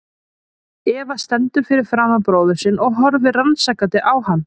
Eva stendur fyrir framan bróður sinn og horfir rannsakandi á hann.